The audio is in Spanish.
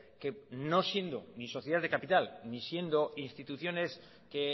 que no siendo ni sociedades de capital ni siendo instituciones que